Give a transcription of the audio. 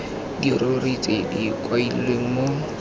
dirori tse di kailweng mo